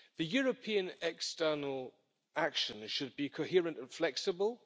European external action should be coherent and flexible.